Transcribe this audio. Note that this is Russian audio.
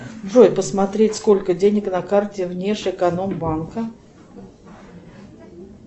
джой посмотреть сколько денег на карте внешэкономбанка